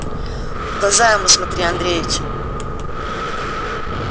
в глаза ему смотри андреич